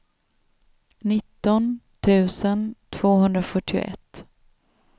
nitton tusen tvåhundrafyrtioett